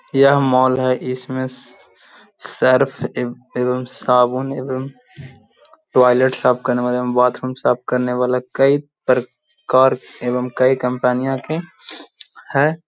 यह मॉल है। इसमें सर्फ एवं साबुन एवं टॉयलेट साफ़ करने वाला बाथरूम साफ़ करने वाला कई प्रकार एवं कई कंपनियों के हैं।